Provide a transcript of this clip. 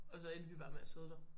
Og så endte vi bare med at sidde der